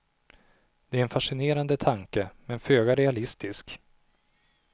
Det är en fascinerande tanke, men föga realistisk.